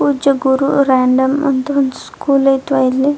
ಪೂಜ್ಯ ಗುರು ರೆಂಡಮ್ ಅಂತ ಒಂದು ಸ್ಕೂಲ್ ಐತ್ವ್ ಇಲ್ಲಿ.